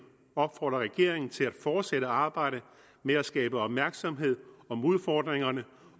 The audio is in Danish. opfordrer regeringen til at fortsætte arbejdet med at skabe opmærksomhed om udfordringerne